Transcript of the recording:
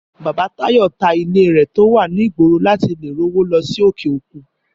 Bàbá Táyọ̀ ta ilé rẹ̀ tó wà ní ìgboro láti lè rówó lọ sí òkè òkun